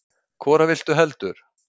Hvora viltu heldur?